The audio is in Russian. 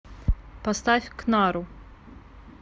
поставь кнару